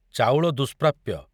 ଚାଉଳ ଦୁସ୍ପ୍ରାପ‍୍ୟ।